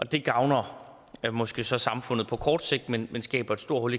det gavner måske så samfundet på kort sigt men det skaber et stort